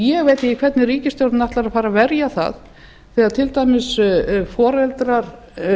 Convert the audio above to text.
ég veit ekki hvernig ríkisstjórnin ætlar að fara að verja það þegar til dæmis foreldrar